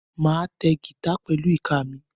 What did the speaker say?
Máa ta gítà pẹ̀lú ìka mi.